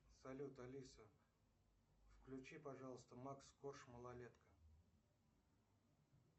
салют алиса включи пожалуйста макс корж малолетка